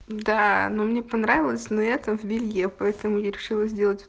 да но мне понравилось но это в белье поэтому я решила сделать